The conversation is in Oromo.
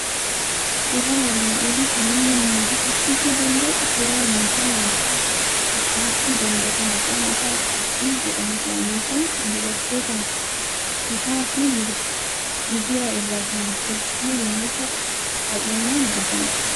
Suuraan armaan olii kan inni nu hubachiisuu danda'u suuraa meeshaa nyaata baachuu danda'u maqaan isaa qorxii jedhamudha. Meeshaan kun dubartootaan sutaa fi migira irraa kan tolfamu yommuu ta'u, baay'inaan argama.